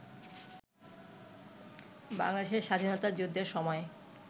বাংলাদেশের স্বাধীনতাযুদ্ধের সময়